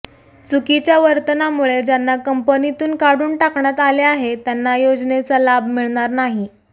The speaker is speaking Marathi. चुकीच्या वर्तनामुळे ज्यांना कंपनीतून काढून टाकण्यात आले आहे त्यांना योजनेचा लाभ मिळणार नाही